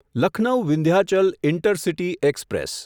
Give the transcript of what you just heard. Lucknow Vindhyachal intercity express